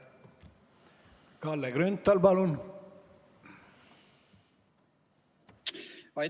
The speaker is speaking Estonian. Kalle Grünthal, palun!